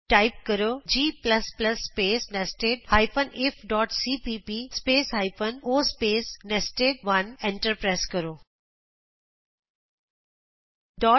type ਕਰੋ g space nested ifਸੀਪੀਪੀ space hyphen o space ਨੈਸਟਡ1 ਐਂਟਰ ਦਬਾਉ